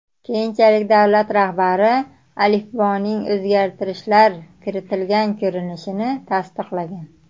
Keyinchalik davlat rahbari alifboning o‘zgartirishlar kiritilgan ko‘rinishini tasdiqlagan.